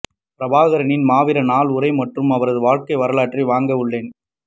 பிரபாகரனின் மாவீரர் நாள் உரை மற்றும் அவரது வாழ்க்கை வரலாற்றை வாங்க உள்ளேன்